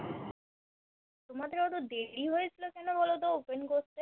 তোমাদের অত দেরি হয়েছিল কেন বলতো Open করতে?